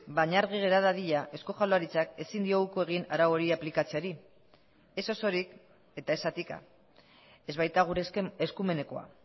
baina argi gera dadila eusko jaurlaritzak ezin dio uko egin arau hori aplikatzeari ez osorik eta ez zatika ez baita gure eskumenekoa